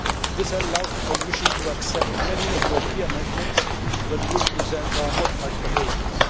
This will allow the Commission to accept many of your key amendments when we present our modified proposals.